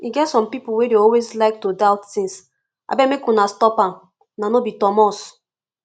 e get some people wey dey always like to doubt things abeg make una stop am una no be thomas